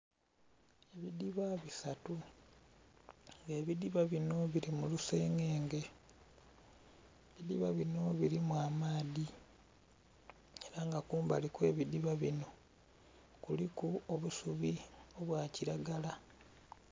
Ebidhiba bisatu nga ebidhiba binho birimulusegege, ebidhiba binho birimu amaadhi era nga kumbali okwebidhiba binho kuliku obusubi obwakiragala.